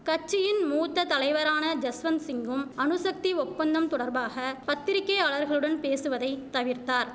கட்சியின் மூத்த தலைவரான ஜஸ்வந்சிங்கும் அணுசக்தி ஒப்பந்தம் தொடர்பாக பத்திரிக்கையாளர்களுடன் பேசுவதை தவிர்த்தார்